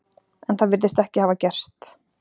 En það virðist ekki hafa gerst.